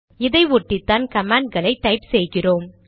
இதை ஒட்டிதான் கமாண்ட்களை டைப் செய்கிறோம்